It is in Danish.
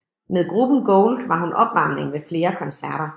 Med gruppen Gold var hun opvarmning ved flere koncerter